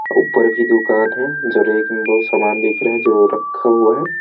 ऊपर भी दुकान है जो रेक बहुत समान दिख रहा है जो रखा हुआ हैं।